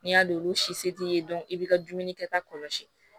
N'i y'a don olu si se t'i ye i b'i ka dumuni kɛta kɔlɔsi